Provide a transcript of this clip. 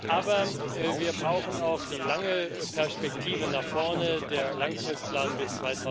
Aber wir brauchen auch die lange Perspektive nach vorne, den Langfristplan bis